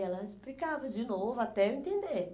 Ela explicava de novo até eu entender.